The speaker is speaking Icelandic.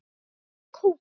Sæktu kókið.